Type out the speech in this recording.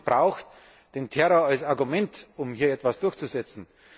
Niemand missbraucht den Terror als Argument, um hier etwas durchzusetzen.